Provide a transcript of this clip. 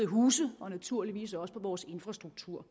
huse og naturligvis også på vores infrastruktur